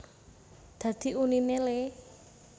Dadi uniné le